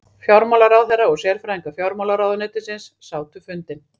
Fjármálaráðherra og sérfræðingar fjármálaráðuneytisins sátu fundinn